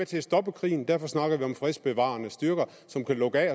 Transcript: til at stoppe krigen derfor snakker vi om fredsbevarende styrker som kan lukke af